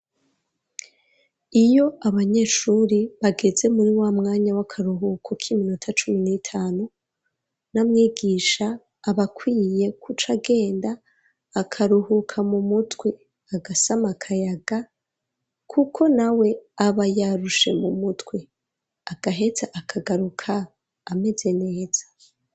Iyo abanyeshuri bageze muri wamwanya w'akaruhuko k'iminota cumi n'itanu, n'amwigisha abakwiye kucagenda akaruhuka mu mutwe, agasama akayaga ,kuko na we aba yarushe mu mutwe, agaheza akagaruka ameze neza.